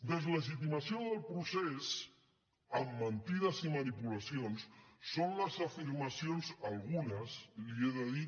deslegitimació del procés amb mentides i manipulacions són les afirmacions algunes li he de dir